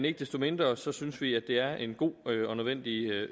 ikke desto mindre synes vi at det er en god og nødvendig